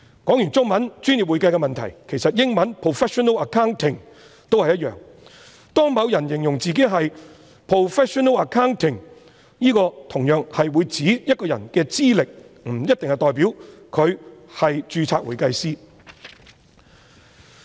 說畢中文"專業會計"的問題，其實英文 "professional accounting" 也一樣，當某人形容自己是 professional accounting， 同樣是指一個人的資歷，不一定代表他是專業會計師。